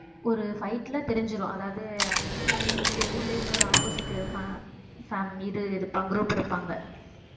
ஒரு fight ல தெரிஞ்சிரும் அதாவது இதுல வந்து இங்க ஊர்லயே இன்னொரு opposite fa~ fan~ இது இருப்பா~ group இருப்பாங்க